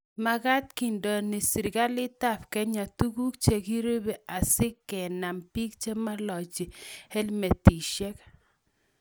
magaat kindeno serikalitab Kenya tuguk chegirube asigenam biik chemailachi helmetishek